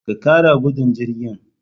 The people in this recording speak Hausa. Ka kara gudun jirgin